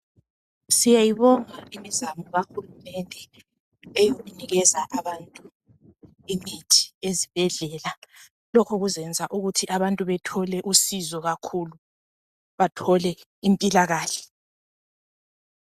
Siyayibonga imizamo kahulumende enikeza abantu imithi ezibhedlela. Lokhu kuzayenza ukuthi abaantu bethole usizo kakhulu, bathole impilakahle.